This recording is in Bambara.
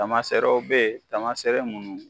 Taamaserew bɛ yen tamasere minnu